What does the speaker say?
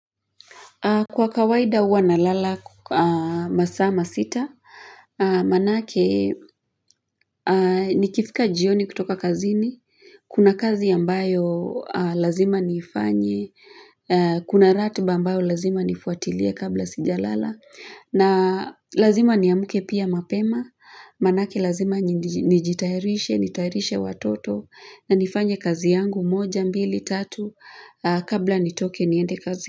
Kwa kawaida huwa na lala masaa masita, manake nikifika jioni kutoka kazini, kuna kazi ambayo lazima niifanye, kuna ratuba ambayo lazima nifuatilie kabla sijalala, na lazima niamke pia mapema, manake lazima nijitayarishe, nitayarishe watoto, na nifanye kazi yangu moja, mbili, tatu, kabla nitoke niende kazi.